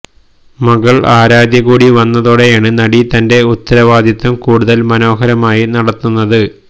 മകള് ആരാധ്യ കൂടി വന്നതോടെയാണ് നടി തന്റെ ഉത്തരവാദിത്വം കൂടുതല് മനോഹരമായി നടത്തുന്നത്